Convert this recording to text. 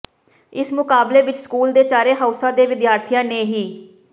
ਇਸ ਮੁਕਾਬਲੇ ਵਿਚ ਸਕੂਲ ਦੇ ਚਾਰੇ ਹਾਊਸਾਂ ਦੇ ਵਿਦਿਆਰਥੀਆਂ ਨੇ ਹਿ